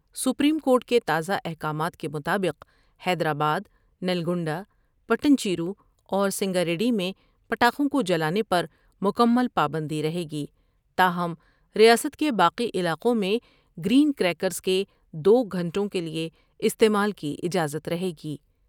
Supreme court کے تازہ احکامات کے مطابق حیدرآباد ، نلگنڈ ہ ، پیٹن چیرو اور سنگاریڈی میں پٹاخوں کو جلانے پر مکمل پابندی رہے گی ، تاہم ریاست کے باقی علاقوں میں گر ین کر یکرس کے دو گھنٹوں کیلئے استعمال کی اجازت رہے گی ۔